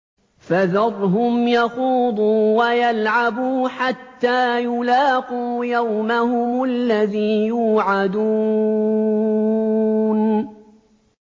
فَذَرْهُمْ يَخُوضُوا وَيَلْعَبُوا حَتَّىٰ يُلَاقُوا يَوْمَهُمُ الَّذِي يُوعَدُونَ